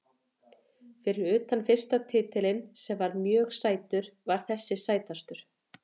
Fyrir utan fyrsta titilinn sem var mjög sætur var þessi sætastur.